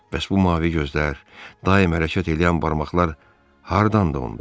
Bəs bu mavi gözlər, daim hərəkət eləyən barmaqlar hardandı onda?